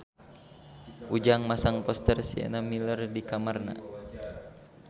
Ujang masang poster Sienna Miller di kamarna